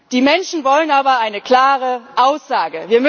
Die Menschen wollen aber eine klare Aussage.